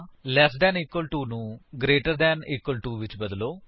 lace than equal to ਨੂੰ greater than equal to ਵਿਚ ਬਦਲੋ